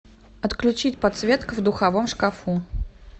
отключить подсветка в духовом шкафу